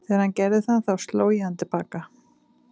Þegar hann gerði það þá sló ég hann til baka.